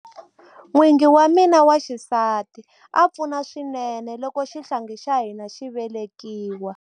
N'wingi wa mina wa xisati a pfuna swinene loko xihlangi xa hina xi velekiwa.